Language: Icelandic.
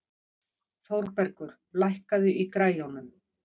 Þórbergur, lækkaðu í græjunum.